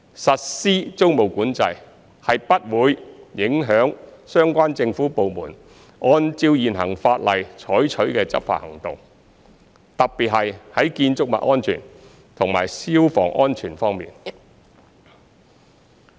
實施租務管制不會影響相關政府部門按照現行法例採取的執法行動，特別是在建築物安全和消防安全方面。